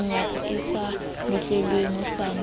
menyako e sa notlelwang hosane